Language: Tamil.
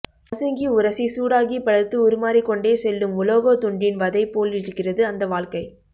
நசுங்கி உரசி சூடாகிப்பழுத்து உருமாறிக்கொண்டே செல்லும் உலோகத்துண்டின் வதைபோலிருக்கிறது அந்த வாழ்க்கை